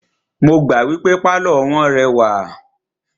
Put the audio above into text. Mo gbà wípé pálọ̀ wọ́n rẹwà.